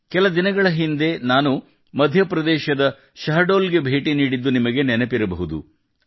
ಕೆಲ ದಿನಗಳ ಹಿಂದೆ ನಾನು ಮಧ್ಯಪ್ರದೇಶದ ಶಹದೋಲ್ ಗೆ ಭೇಟಿ ನೀಡಿದ್ದು ನಿಮಗೆ ನೆನಪಿರಬಹುದು